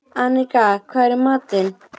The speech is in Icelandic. Mikjáll, hvað er jörðin stór?